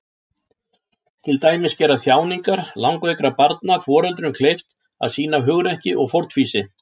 Til dæmis gera þjáningar langveikra barna foreldrum kleift að sýna hugrekki og fórnfýsi.